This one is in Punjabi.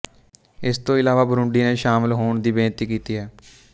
ਇਸ ਤੋਂ ਇਲਾਵਾ ਬੁਰੂੰਡੀ ਨੇ ਸ਼ਾਮਲ ਹੋਣ ਦੀ ਬੇਨਤੀ ਕੀਤੀ ਹੈ